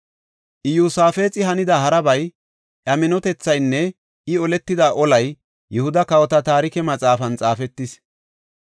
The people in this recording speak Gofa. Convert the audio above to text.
Iyosaafexi hanida harabay, iya minotethaynne I oletida olay Yihuda kawota Taarike Maxaafan xaafetis.